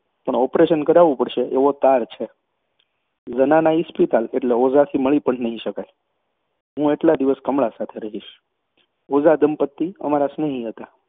પણ ઑપરેશન કરાવવું પડશે એવો તાર છે. ઝનાના ઇસ્પિતાલ એટલે ઓઝાથી મળી પણ નહીં શકાય, હું એટલા દિવસ કમળા સાથે રહીશ. ઓઝાદંપતી અમારાં સ્નેહી હતાં.